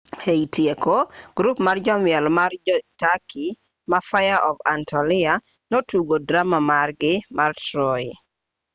e tieko grup mar jomiel ma jo-turkey ma fire of anatolia notugo drama margi mar troy